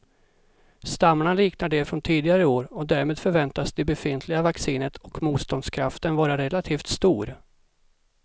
Stammarna liknar de från tidigare år och därmed förväntas det befintliga vaccinet och motståndskraften vara relativt stor.